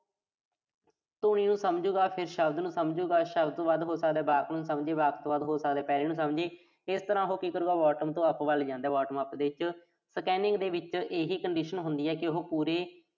ਨੂੰ ਸਮਝੂਗਾ, ਫਿਰ ਸ਼ਬਦ ਨੂੰ ਸਮਝੂਗਾ। ਸ਼ਬਦ ਤੋਂ ਬਾਅਦ ਹੋ ਸਕਦਾ ਵਾਕ ਨੂੰ ਸਮਝੇ, ਵਾਕ ਤੋਂ ਬਾਅਦ ਹੋ ਸਕਦਾ ਪੈਰ੍ਹੇ ਨੂੰ ਸਮਝੇ। ਇਸ ਤਰ੍ਹਾਂ ਉਹੋ ਕੀ ਕਰੂਗਾ bottom ਤੋਂ up ਵੱਲ ਜਾਂਦਾ। bottom up ਦੇ ਵਿੱਚ scanning ਦੇ ਵਿੱਚ ਇਹੀ condition ਹੁੰਦੀ ਆ ਕਿ ਉਹੋ ਪੂਰੇ